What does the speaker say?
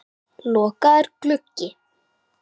Lokaður gluggi.